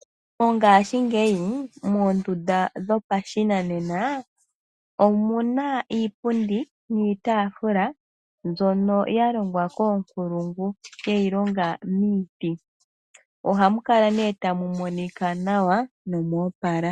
Mongaashingeyi moonduda dhopashinanena omu na iipundi niitafula mbyono ya longwa koonkulungu ye yi longa miiti. Oha mu kala nee ta mu monika nawa nomoopala